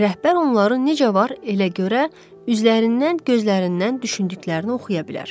rəhbər onları necə var, elə görə, üzlərindən, gözlərindən düşündüklərini oxuya bilər.